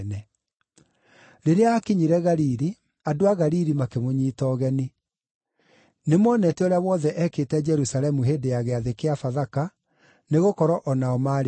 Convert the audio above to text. Rĩrĩa aakinyire Galili, andũ a Galili makĩmũnyiita ũgeni. Nĩmonete ũrĩa wothe ekĩte Jerusalemu hĩndĩ ya Gĩathĩ gĩa Bathaka, nĩgũkorwo o nao maarĩ kuo.